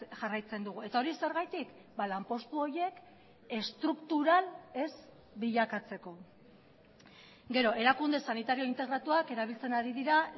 jarraitzen dugu eta hori zergatik lanpostu horiek estruktural ez bilakatzeko gero erakunde sanitario integratuak erabiltzen ari dira